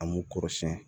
An b'u kɔrɔsiyɛn